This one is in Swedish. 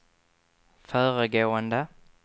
föregående